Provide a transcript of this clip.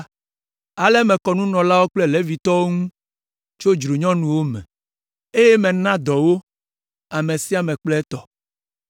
Ale mekɔ nunɔlawo kple Levitɔwo ŋu tso dzronuwo me, eye mena dɔ wo, ame sia ame kple etɔ.